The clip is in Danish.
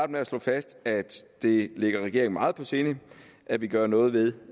med at slå fast at det ligger regeringen meget på sinde at vi gør noget ved